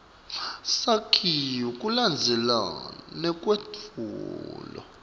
sakhiwo kulandzelana nekwetfulwa